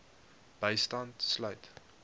bystand sluit